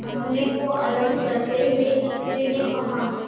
अपने को अलग करते हुए स्त्री ने कहा